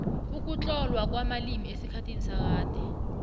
ukutlolwa kwamalimi esikhathini sakade